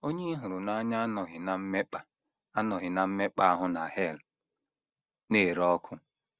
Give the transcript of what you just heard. Onye ị hụrụ n’anya anọghị ná mmekpa anọghị ná mmekpa ahụ na hel na - ere ọkụ.